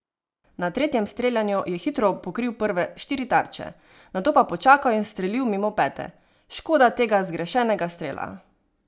Na tretjem streljanju je hitro pokril prve štiri tarče, nato pa počakal in ustrelil mimo pete: "Škoda tega zgrešenega strela.